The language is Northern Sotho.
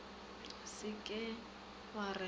se ke wa re ga